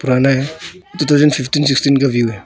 पुराना है two thousand sixteen sixteen का व्यू है।